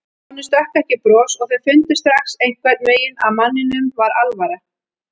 Honum stökk ekki bros og þau fundu strax einhvern veginn að manninum var alvara.